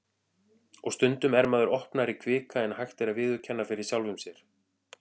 Og stundum er maður opnari kvika en hægt er að viðurkenna fyrir sjálfum sér.